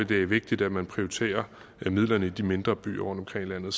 det er vigtigt at man prioriterer midlerne i de mindre byer rundtomkring i